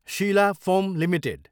Sheila foam Ltd